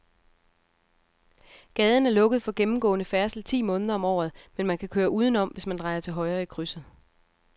Gaden er lukket for gennemgående færdsel ti måneder om året, men man kan køre udenom, hvis man drejer til højre i krydset.